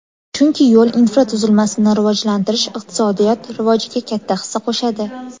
Chunki yo‘l infratuzilmasini rivojlantirish iqtisodiyot rivojiga katta hissa qo‘shadi.